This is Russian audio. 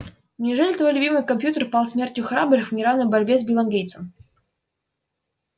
неужели твой любимый компьютер пал смертью храбрых в неравной борьбе с биллом гейтсом